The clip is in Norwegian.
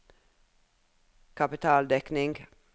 kapitaldekning